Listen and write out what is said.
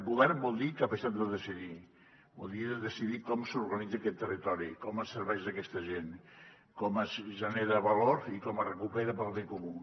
govern vol dir capacitat de decidir vol dir decidir com s’organitza aquest territori com es serveix aquesta gent com es genera valor i com es recupera per al bé comú